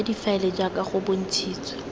ya difaele jaaka go bontshitswe